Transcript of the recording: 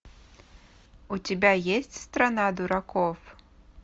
у тебя есть страна дураков